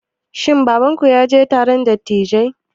Shin babanku ya je taron dattijai?